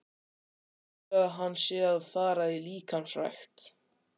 Af hverju heldurðu að hann sé að fara í líkamsrækt?